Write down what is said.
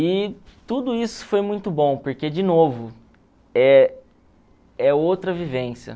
E tudo isso foi muito bom, porque, de novo, é é outra vivência.